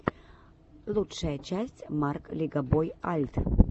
лучшая часть марк легобой альт